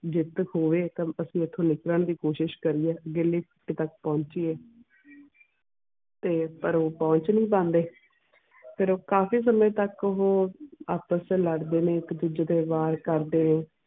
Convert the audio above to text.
ਜਿੱਤ ਖੋਏ ਤੇ ਅਸੀਂ ਇਥੋਂ ਨਿਕਲਣ ਦੀ ਕੋਸ਼ਿਸ਼ ਕਰੀਏ ਤੱਕ ਪਹੁੰਚੀਏ ਤੇ ਪਰ ਪਹੁੰਚ ਨੀ ਪਾਂਦੇ ਫੇਰ ਕਾਫੀ ਸਮੇਂ ਤੱਕ ਓਹੋ ਆਪਸ ਚ ਲੜ ਦੇ ਨੇ ਇੱਕ ਦੂੱਜੇ ਤੇ ਵਾਰ ਕਰਦੇ ਨੇ